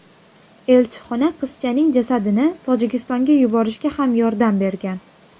Elchixona qizchaning jasadini Tojikistonga yuborishga ham yordam bergan.